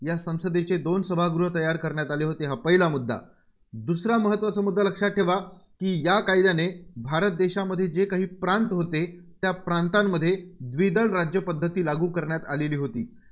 या संसदेच्या दोन सभागह तयार करण्यात आले होते. हा पहिला मुद्दा. दुसरा महत्त्वाचा मुद्दा लक्षात ठेवा, की या कायद्याने भारत देशात जे काही प्रांत होते, त्या प्रातांमध्ये द्विदल राज्यपद्धती लागू करण्यात आलेली होती.